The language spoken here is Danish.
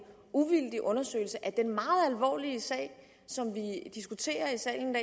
uvildig undersøgelse af den meget alvorlige sag som vi diskuterer i salen